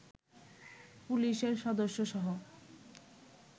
পুলিশের সদস্যসহ